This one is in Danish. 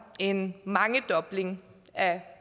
en mangedobling af